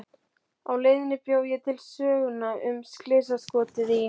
Á leiðinni bjó ég til söguna um slysaskotið í